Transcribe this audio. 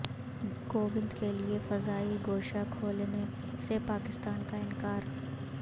کووند کیلئے فضائی گوشہ کھولنے سے پاکستان کا انکار